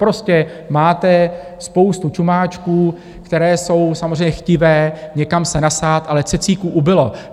Prostě máte spoustu čumáčků, které jsou samozřejmě chtivé někam se nasát, ale cecíků ubylo.